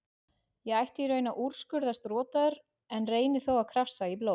Ég ætti í raun að úrskurðast rotaður en reyni þó að krafsa í blóð